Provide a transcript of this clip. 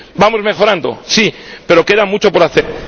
Vamos mejorando, sí, pero queda mucho por hacer.